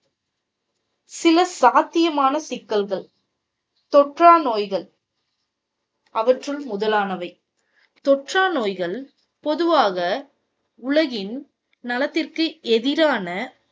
சில சாத்தியமான சிக்கல்கள். தொற்றா நோய்கள். அவற்றுள் முதலானவை. தொற்றா நோய்கள் பொதுவாக உலகின் நலத்திற்கு எதிரான